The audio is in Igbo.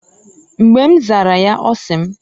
Mgba m zara ya ọ sị mː